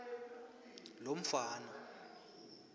lomfana